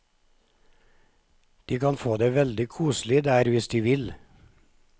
De kan få det veldig koselig der hvis de vil.